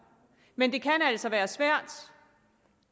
men det kan altså være svært